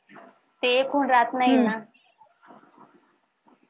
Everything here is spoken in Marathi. ते एक होऊन राहत नाही ना हम्म